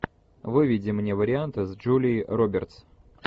выведи мне варианты с джулией робертс